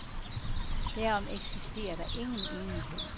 Derom eksisterer der ingen enighed.